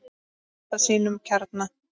Þeir halda sínum kjarna.